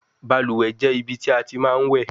Baluwe je ibi ti a ti ma we